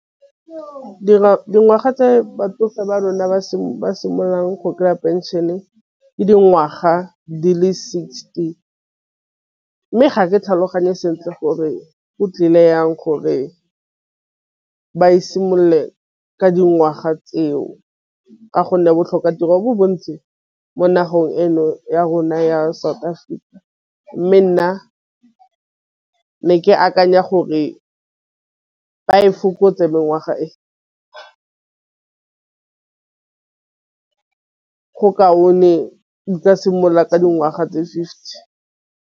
Dingwaga tse batsofe ba rona ba simololang go kry-a pension-e le dingwaga di le sixty, mme ga ke tlhaloganye sentle gore go tlile yang gore ba e simolole ka dingwaga tseo ka gonne botlhoka tiro bo bontsi mo nageng ena ya rona ya South Africa. Mme nna ne ke akanya gore ba e fokotse mengwaga simolla ka dingwaga tse fifty.